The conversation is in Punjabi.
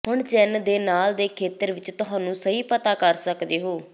ਹੁਣ ਚਿੰਨ੍ਹ ਦੇ ਨਾਲ ਦੇ ਖੇਤਰ ਵਿਚ ਤੁਹਾਨੂੰ ਸਹੀ ਪਤਾ ਕਰ ਸਕਦੇ ਹੋ